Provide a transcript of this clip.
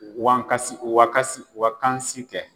Wa kasi wakasi wakansi kɛ